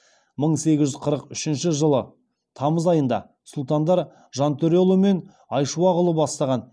мың сегіз жүз қырық үшінші жылы тамыз айында сұлтандар жантөреұлы мен айшуақұлы бастаған